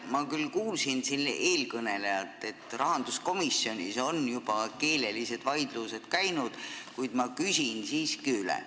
Ma küll kuulsin siin eelkõnelejalt, et rahanduskomisjonis on juba keelelised vaidlused käinud, kuid ma küsin siiski üle.